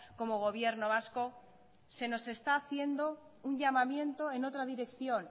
como gobierno vasco se nos está haciendo un llamamiento en otra dirección